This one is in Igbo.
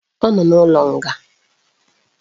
Ọ nọ n'ụlọ nga